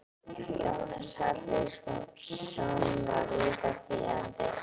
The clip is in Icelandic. Jónas Hallgrímsson var líka þýðandi.